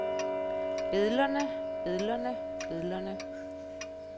billederne billederne billederne